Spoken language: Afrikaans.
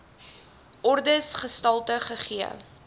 ordes gestalte gegee